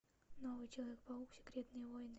новый человек паук секретные войны